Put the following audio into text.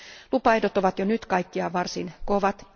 Lupaehdot ovat jo nyt kaikkiaan varsin kovat.